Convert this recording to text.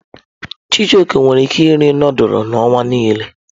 Chijioke nwere ike iri nudulu n'ọnwa nile.